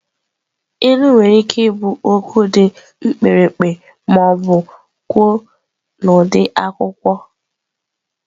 Ilu nwere ike ịbụ okwu dị mkpirikpi ma ọ bụ kwuo n'ụdị akụkọ.